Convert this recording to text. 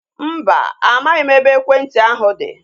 Mba, amaghị m ebe ekwentị ahu dị